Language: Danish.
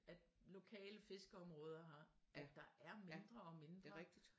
At lokale fiskeområder at der er mindre og mindre